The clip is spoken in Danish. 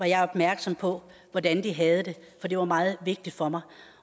jeg opmærksom på hvordan de havde det det var meget vigtigt for mig